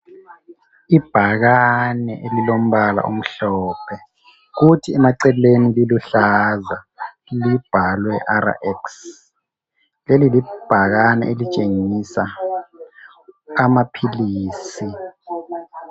Ibhakane elilombala omhlophe kuthi emaceleni liluhlaza libhalwe RX leli libhakane elitshengisa amaphilisi.